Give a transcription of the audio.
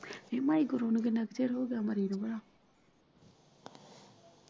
ਨੀ ਮਾਈ ਗੁਰੂ ਨੂੰ ਕਿੰਨਾ ਕ ਚਿਰ ਹੋਗਿਆ ਮਰੇ ਨੂੰ ਭਲਾ।